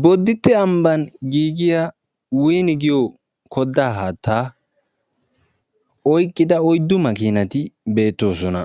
Bodditte ambba giigiyaa 'win' giyo kodda haattaa oyqqida oyddu maakinati beettoosona;